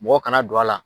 Mɔgɔ kana don a la